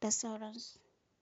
da sauran su.